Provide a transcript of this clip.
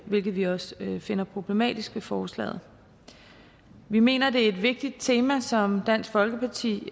hvilket vi også finder problematisk ved forslaget vi mener at det er et vigtigt tema som dansk folkeparti